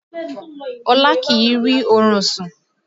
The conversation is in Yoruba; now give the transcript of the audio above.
Ọlá kìí rí orun sùn